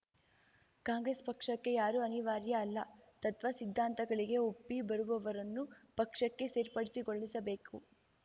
ಕಾಂಗ್ರೆಸ್‌ ಪಕ್ಷಕ್ಕೆ ಯಾರೂ ಅನಿವಾರ್ಯ ಅಲ್ಲ ತತ್ವ ಸಿದ್ಧಾಂತಗಳಿಗೆ ಒಪ್ಪಿ ಬರುವವರನ್ನು ಪಕ್ಷಕ್ಕೆ ಸೇರ್ಪಡೆಗೊಳಿಸಿಕೊಳ್ಳಿಸಬೇಕು